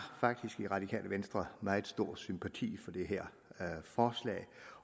faktisk i radikale venstre meget stor sympati for det her forslag